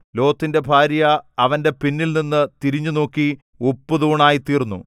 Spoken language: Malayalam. ലോത്തിന്റെ ഭാര്യ അവന്റെ പിന്നിൽനിന്നു തിരിഞ്ഞുനോക്കി ഉപ്പുതൂണായിത്തീർന്നു